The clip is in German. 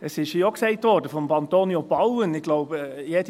Es wurde hier auch von Antonio Bauen gesagt, glaube ich: